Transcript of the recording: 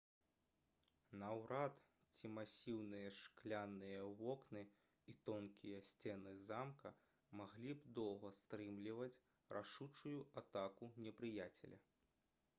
наўрад ці масіўныя шкляныя вокны і тонкія сцены замка маглі б доўга стрымліваць рашучую атаку непрыяцеля